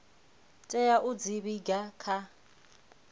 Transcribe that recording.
tea u dzi vhiga kha